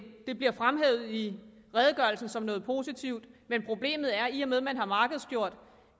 det bliver fremhævet i redegørelsen som noget positivt men problemet er at i og med at man har markedsgjort